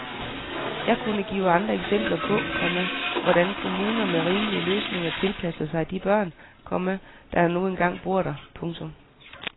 Jeg kunne give andre eksempler på, komma hvordan kommuner med rimelige løsninger tilpasser sig de børn, komma der nu engang bor der. punktum